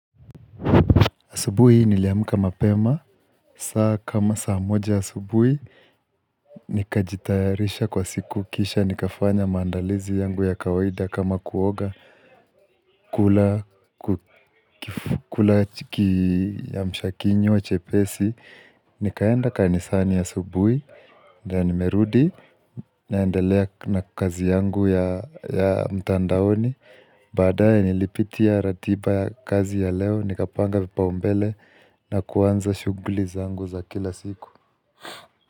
Asubuhi niliamka mapema, saa kama saa moja asubuhi, nikajitayarisha kwa siku kisha, nikafanya maandalizi yangu ya kawaida kama kuoga kula kiamsha kinywa chepesi. Nikaenda kanisani ya asubuhi ndo nimerudi naendelea na kazi yangu ya mtandaoni baadaye nilipitia ratiba kazi ya leo Nikapanga vipaumbele na kuanza shughuli zangu za kila siku.